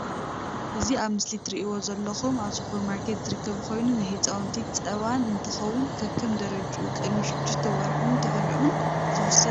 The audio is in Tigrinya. እዚ ኣብ ምስሊ ትርእዎ ዘለኩም ኣብ ስፖርማርኬት ዝርከብ ኮይኑ ናይ ህፃውንቲ ፃባ እንትከውን ከከም ደረጅኡ ቅድሚ ሽዱሽተ ወርሕን ድሕርኡን ዝውሰድ እዩ።